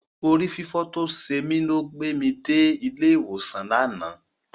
Orí fífọ́ tó ṣe mí ló gbé mi dé ilé ìwòsàn lánàá.